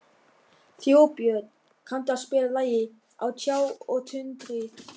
Þjóðbjörn, kanntu að spila lagið „Á tjá og tundri“?